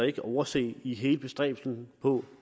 ikke overse i hele bestræbelsen på